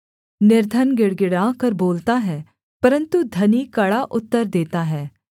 निर्धन गिड़गिड़ाकर बोलता है परन्तु धनी कड़ा उत्तर देता है